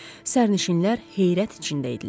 Sərnişinlər heyrət içində idilər.